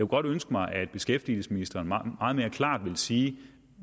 godt ønske mig at beskæftigelsesministeren meget mere klart ville sige